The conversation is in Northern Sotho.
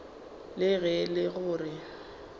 le ge e le gore